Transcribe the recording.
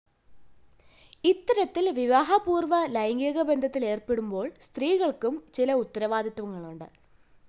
ഇത്തരത്തില്‍ വിവാഹപൂര്‍വ്വ ലൈംഗികബന്ധത്തിലേര്‍പ്പെടുമ്പോള്‍ സ്ത്രീകള്‍ക്കും ചില ഉത്തരവാദിത്വങ്ങളുണ്ട്‌